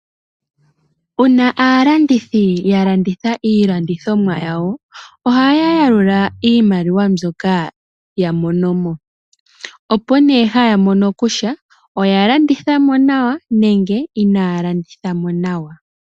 Wuna aalandithi yalanditha iilandithomwa yawo, ohayayalula iimaliwa mbyoka yamonomo. Opo nee hayamono kutya oyalandithamo nawa nenge inaalandithamo nawa.